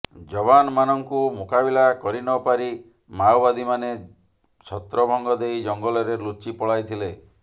ଯବାନ ମାନଙ୍କୁ ମୁକୁବିଲା କରିନପାରି ମାଓବାଦୀ ମାନେ ଛତ୍ରଭଙ୍ଗଦେଇ ଜଙ୍ଗଲରେ ଲୁଚିପଳାଇଥିଲେ